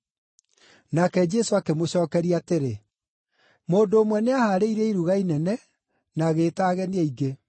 Nake Jesũ akĩmũcookeria atĩrĩ, “Mũndũ ũmwe nĩahaarĩirie iruga inene na agĩĩta ageni aingĩ.